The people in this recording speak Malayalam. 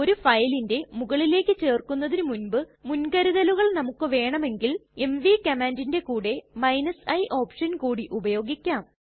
ഒരു ഫയലിന്റെ മുകളിലേക്ക് ചേര്ക്കുന്നതിന് മുൻപ് മുൻകരുതലുകൾ നമുക്ക് വേണമെങ്കിൽ എംവി കമാന്റിറ്റ്ന്റെ കൂടെ i ഓപ്ഷൻ കൂടി ഉപയോഗിക്കാം